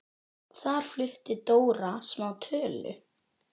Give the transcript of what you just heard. Þar flutti Dóra smá tölu.